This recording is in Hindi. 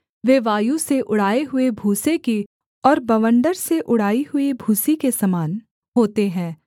वे वायु से उड़ाए हुए भूसे की और बवण्डर से उड़ाई हुई भूसी के समान होते हैं